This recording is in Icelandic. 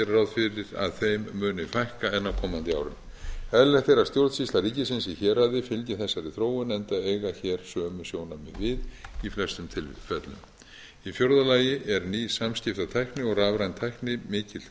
gera ráð fyrir að þeim muni fækka enn á komandi árum eðlilegt er að stjórnsýsla ríkisins í héraði fylgi þessari þróun enda eiga hér sömu sjónarmið við í flestum tilfellum í fjórða lagi er ný samskiptatækni og rafræn tækni mikill hvati